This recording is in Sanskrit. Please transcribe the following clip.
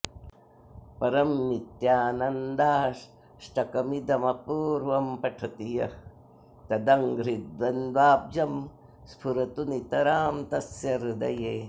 परं नित्यानन्दाष्टकमिदमपूर्वं पठति यः तदङ्घ्रिद्वन्द्वाब्जं स्फुरतु नितरां तस्य हृदये